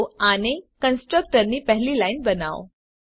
તો આને કન્સ્ટ્રકટર ની પહેલી લાઈન બનાવો